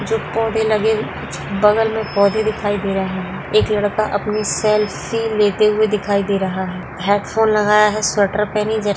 जो पौधे लगे बगल में पौधे दिखाए दे रहे है एक लड़का अपनी सेल्फी लेते हुवे दिखाए दे रहा है हेडफोन लगाया है सेवटर पहनी जेट --